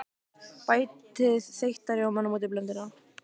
Bætið þeytta rjómanum út í blönduna.